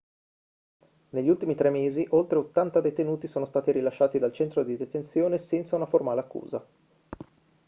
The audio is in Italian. negli ultimi 3 mesi oltre 80 detenuti sono stati rilasciati dal centro di detenzione senza una formale accusa